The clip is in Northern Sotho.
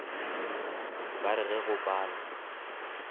ba re ge go pala